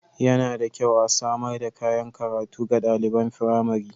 Yana da kyau a samar da kayan karatu ga ɗaliban firamari.